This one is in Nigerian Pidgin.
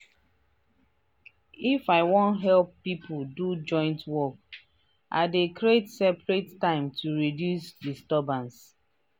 if i wan help people do joint work i dey creat separete time to reduce disturbance.